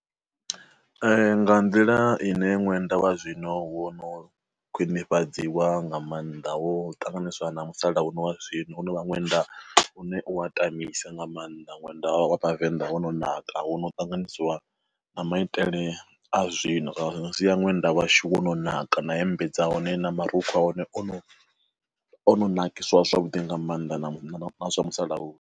Nga nḓila ine ṅwenda wa zwino wo no khwinifhadziwa nga mannḓa ho ṱanganyiswa na musalanuno wa zwino ho no vha ṅwenda une u wa tamisa nga maanḓa ṅwenda wa Vhavenḓa hono naka ho no ṱanganyisiwa na maitele a zwi no sia ṅwenda washu wo no naka na hembe dza hone na marukhu a hone ono ono nakiswa zwavhuḓi nga maanḓa na zwa musalauno.